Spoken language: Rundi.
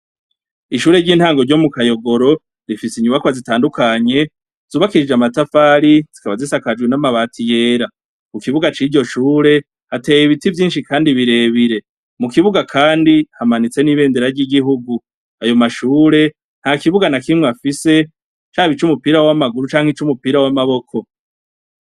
Ishure ry'intango ryo mukayogoro rifise inyubakwa zitandukanye zubakishijwe amatafari, zikaba zisakajwe n'amabati yera, mukibuga ciryo shure hateye ibiti vyinshi kandi birebire, mukibuga kandi hamanitse n'ibendera ry'igihugu, ayo mashure ntakibuga nakimwe afise cab 'ic'umpira w'amaboko canke iz'umupira w'amaguru.